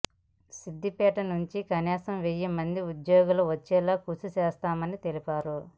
సిద్దిపేట నుండి కనీసం వెయ్యి మందికి ఉద్యోగాలు వచ్చెలా కృషి చేస్తామని తెలిపారు